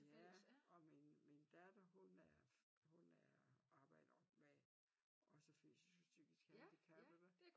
Ja og min min datter hun er hun er arbejder med også fysisk og psykisk handicappede